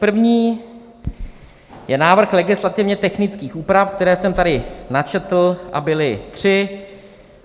První je návrh legislativně technických úprav, které jsem tady načetl, a byly tři.